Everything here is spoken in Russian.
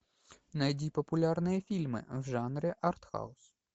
найди популярные фильмы в жанре артхаус